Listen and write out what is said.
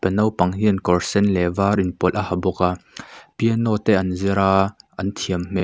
naupang hian kawr sen leh var inpawlh a ha bawk a piano te an zir a an thiam hmel --